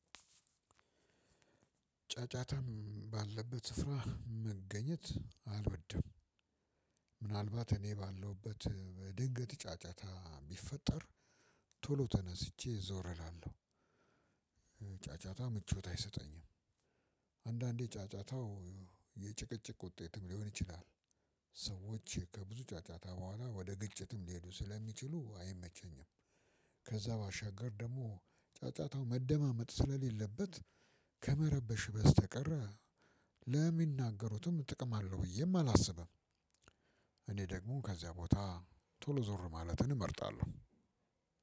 ጫጫታም ባለበት ስፍራ መገኘት አልወድም። እኔ ባለሁበት በድንገት ጫጫታ ቢፈጠር ቶሎ ተነስቼ ዞር እላለሁ። ጫጫታ ምቾት አይሰጠኝም። አንዳንዴ ጫጫታው የጭቅጭቅ ውጤትም ሊሆን ይችላል። ሰዎች ከብዙ ጫጫታ በኋላ ወደ ግጭትም ሊሄዱ ስለሚችሉ አይመቸኝም። ከዛ ባሸገር ደግሞ ጫጫታው መደማመጥ ስለሌለበት ከመረበሽ በስተቀር ለሚናገሩትም ጥቅም አለውም ብዬ አላስብም። ደግሞ ከዚያ ቦታ ቶሎ ዞር ማለትን እመርጣለሁ።